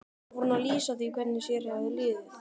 Síðan fór hún að lýsa því hvernig sér hefði liðið.